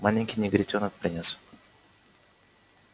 маленький негритёнок принёс